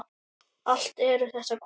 Allt eru þetta konur.